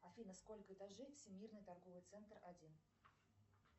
афина сколько этажей всемирный торговый центр один